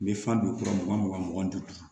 N bɛ fan don kurun mugan mugan mugan ni duuru